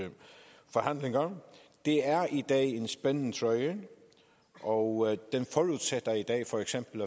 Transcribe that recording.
forhandlinger det er i dag en spændetrøje og for eksempel